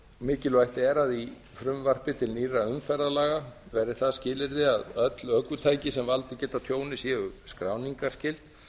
mikilvægt er að í frumvarpi til nýrra umferðarlaga verði það skilyrði að öll ökutæki sem valdið geti tjóni séu skráningarskyld